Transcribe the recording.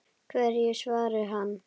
Hverju svaraði hann?